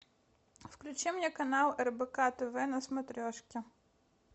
включи мне канал рбк тв на смотрешке